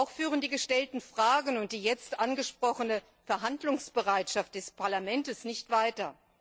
Auch führen die gestellten Fragen und die jetzt angesprochene Verhandlungsbereitschaft des Parlaments nicht weiter.